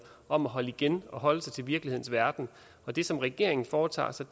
om at holde igen og holde sig til virkelighedens verden det som regeringen foretager sig